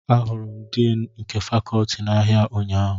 Ahụrụ m Din nke Fakọọti a n'ahịa ụnyahụ